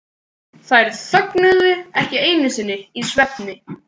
Þær þögnuðu ekki einu sinni í svefni.